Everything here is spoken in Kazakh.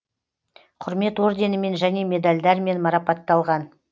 құрмет орденімен және медальдермен марапатталған